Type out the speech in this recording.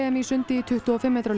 í sundi í tuttugu og fimm metra laug